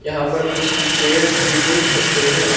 यहां पर कुछ हम चेयर्स भी देख सकते हैं।